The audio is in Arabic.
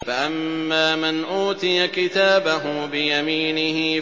فَأَمَّا مَنْ أُوتِيَ كِتَابَهُ بِيَمِينِهِ